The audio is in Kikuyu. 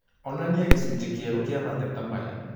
Onania gĩcunjĩ kĩerũ kĩa mateta maya